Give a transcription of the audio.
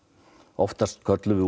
oftast köllum við